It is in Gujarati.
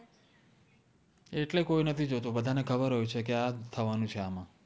એત્લે કોઇ નથી જોતુ બદ્ધા ને ખબર હોએ છે કે આ જ થવાનુ છે આમા